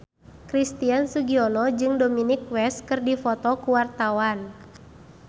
Christian Sugiono jeung Dominic West keur dipoto ku wartawan